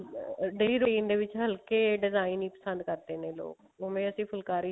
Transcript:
daily routine ਦੇ ਵਿੱਚ ਹਲਕੇ design ਹੀ ਪਸੰਦ ਕਰਦੇ ਨੇ ਲੋਕ ਓਵੇਂ ਅਸੀਂ ਫੁਲਕਾਰੀ ਦੇ